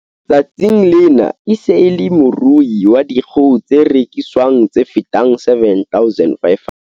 Tsatsing lena e se e le morui wa dikgoho tse reki swang tse fetang 7 500.